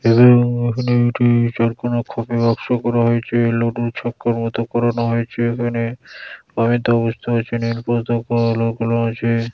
এখানে একটি চারকোনা খোপের বাক্স করা হয়েছে। লডুর ছক্কার মতো করানো হয়েছে এখানে। আমিতো বুঝতে পারছি না আছে।